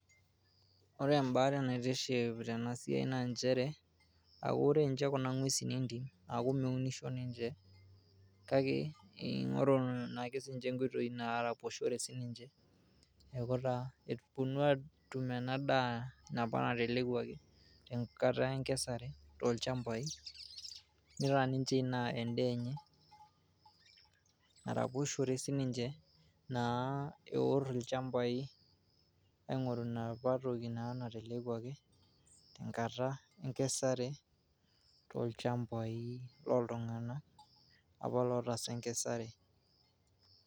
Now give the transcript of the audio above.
Ore embae naitiship tena siai naa nchere aa ore nche Kuna ngwesin entim aku meunisho ninche kake ingoru sinche nkoitoi naraposhore ninche . Niaku taa epuoni atum ena daa apa natelekwaki enkata enkesare tolchambai nitaa ninche Ina en'daa enye .